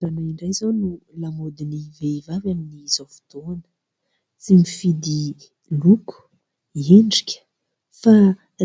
Randrana indray izao no lamaodin'ny vehivavy amin'izao fotoana. Tsy mifidy loko, endrika fa